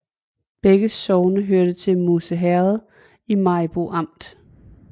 Begge sogne hørte til Musse Herred i Maribo Amt